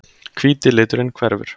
Hvíti liturinn hverfur.